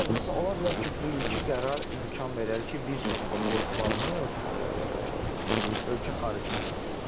Ola bilər, məsələn, ola bilər ki, bu ilki qərar imkan verər ki, bir çox futbolçularımız ölkə xaricinə çıxsınlar.